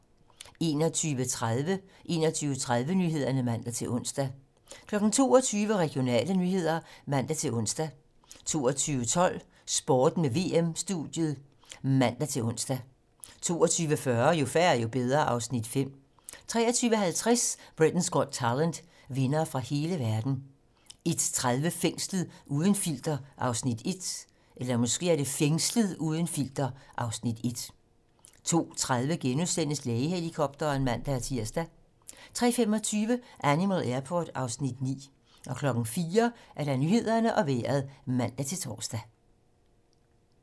21:30: 21:30 Nyhederne (man-ons) 22:00: Regionale nyheder (man-ons) 22:12: Sporten med VM-studiet (man-ons) 22:40: Jo færre, jo bedre (Afs. 5) 23:50: Britain's Got Talent - vindere fra hele verden 01:30: Fængslet - uden filter (Afs. 1) 02:30: Lægehelikopteren *(man-tir) 03:25: Animal Airport (Afs. 9) 04:00: Nyhederne og Vejret (man-tor)